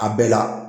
A bɛɛ la